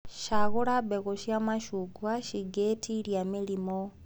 Cagũra mbegũ cia macungwa cingĩtitia mĩrimũ.